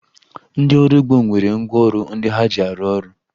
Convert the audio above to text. Ndị ọrụ ugbo nwere ngwaọrụ ndị ha ji arụ ọrụ